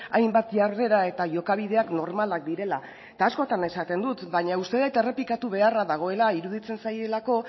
hainbat jarrera eta jokabideak normalak direla eta askotan esaten dut baina uste dut errepikatu beharra dagoela iruditzen zaielako